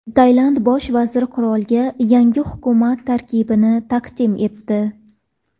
Tailand bosh vaziri qirolga yangi hukumat tarkibini taqdim etdi .